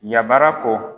Yabara ko